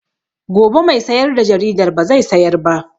Gobe mai sayar da jaridar ba zai sayar ba